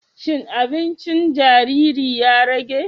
Shin aɓincin jariri ya rage?